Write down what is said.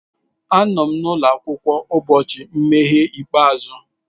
Anọ m n'ụlọ akwụkwọ ụbọchị nmeghe ikpeazụ.